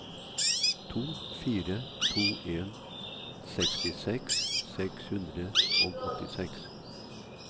to fire to en sekstiseks seks hundre og åttiseks